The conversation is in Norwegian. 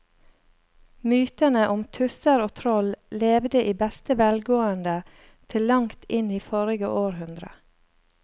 Mytene om tusser og troll levde i beste velgående til langt inn i forrige århundre.